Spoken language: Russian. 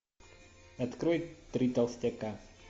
открой три толстяка